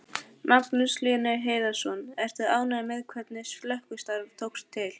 Magnús Hlynur Hreiðarsson: Ertu ánægður með hvernig slökkvistarf tókst til?